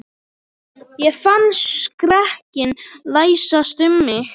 Ég fann skrekkinn læsast um mig.